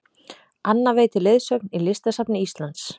Anna veitir leiðsögn í Listasafni Íslands